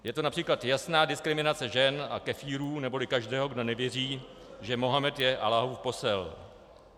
Je to například jasná diskriminace žen a kefírů, neboli každého, kdo nevěří, že Mohamed je Alláhův posel.